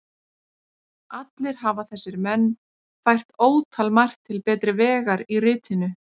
Allir hafa þessir menn fært ótalmargt til betri vegar í ritinu.